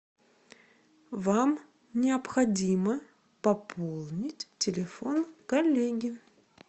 вам необходимо пополнить телефон коллеги